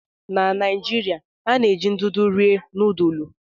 Na Naijiria, a na-eji ndụdụ rie nudulu.